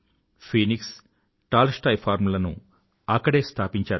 Phoenix Tolstoy farm లను అక్కడే స్థాపించారు